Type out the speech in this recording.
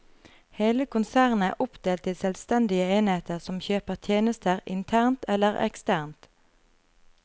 Hele konsernet er oppdelt i selvstendige enheter som kjøper tjenester internt eller eksternt.